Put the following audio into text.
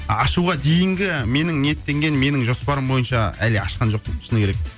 ашуға дейінгі менің ниеттенген менің жоспарым бойынша әлі ашқан жоқпын шыны керек